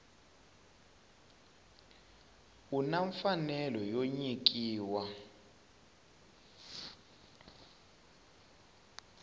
u na mfanelo yo nyikiwa